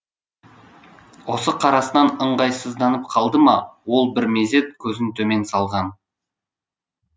осы қарасынан ыңғайсызданып қалды ма ол бір мезет көзін төмен салған